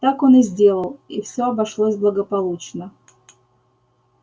так он и сделал и все обошлось благополучно